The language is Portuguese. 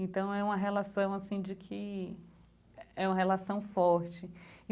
Então, é uma relação, assim, de que é uma relação forte.